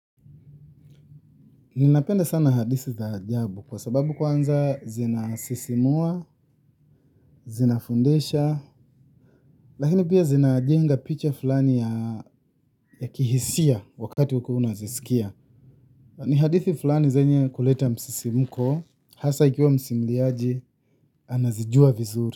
Ninapenda sana hadithi za ajabu kwa sababu kwanza zinasisimua, zinafundisha, lakini pia zina jenga picha fulani ya kihisia wakati ukiwa unazisikia. Ni hadithi fulani zenye kuleta msisimko, hasa ikiwa msimliaji, anazijua vizuri.